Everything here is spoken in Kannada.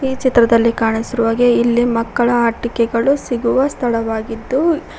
ಈ ಚಿತ್ರದಲ್ಲಿ ಕಾಣಿಸಿರುವಾಗೆ ಇಲ್ಲಿ ಮಕ್ಕಳ ಆಟಿಕೆ ಗಳು ಸಿಗುವ ಸ್ಥಳವಾಗಿದ್ದು --